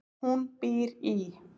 Hún býr í